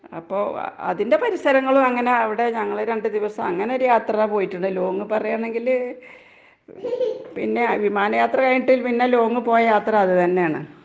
അപ്പോ അതിന്റെ പരിസരങ്ങളും അങ്ങനവടെ ഞങ്ങള് രണ്ട് ദിവസം അങ്ങനൊരു യാത്ര പോയിട്ടുണ്ട്. ലോങ്ങ് പറയാണെങ്കില് പിന്നെയാ വിമാനയാത്ര കഴിഞ്ഞിട്ട് പിന്നെ ലോങ്ങ് പോയ യാത്ര അത് തന്നേണ്.